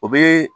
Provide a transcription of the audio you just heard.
O be